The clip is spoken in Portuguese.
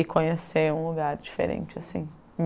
E conhecer um lugar diferente, assim.